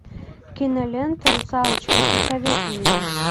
кинолента русалочка посоветуй мне